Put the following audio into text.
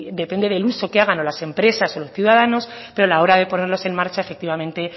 depende del uso que hagan las empresas o los ciudadanos pero a la hora de ponerlos en marcha efectivamente